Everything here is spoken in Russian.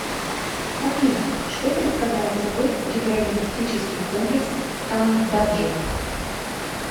афина что представляет собой гидроэнергетический комплекс кандаджи